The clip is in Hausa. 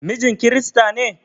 Mijin kirista ne?